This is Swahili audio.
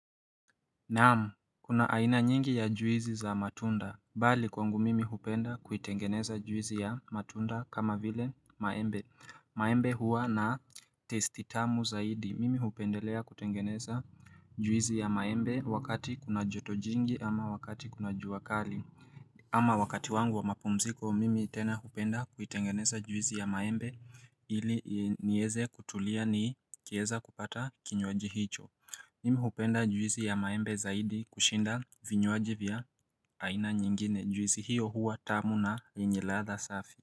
Naam kuna aina nyingi ya juizi za matunda bali kwangu mimi hupenda kuitengeneza juizi ya matunda kama vile maembe maembe huwa na testitamu zaidi mimi hupendelea kutengeneza juizi ya maembe wakati kuna jotojingi ama wakati kuna juakali ama wakati wangu wa mapumziko mimi tena hupenda kuitengeneza juizi ya maembe ili nieze kutulia ni kieza kupata kinywaji hicho Mimi huhupenda juisi ya maembe zaidi kushinda vinywaji vya aina nyingine juisi hiyo huwa tamu na yenye ladha safi.